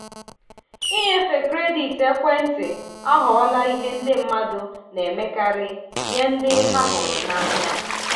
inyefe kredit ekwentị aghọọla ihe ndị mmadụ na-emekarị nye ndị ha hụrụ n'anya.